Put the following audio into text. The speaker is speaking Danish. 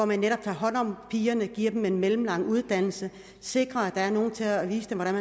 man netop tager hånd om pigerne giver dem en mellemlang uddannelse sikrer at der er nogle til at vise dem hvordan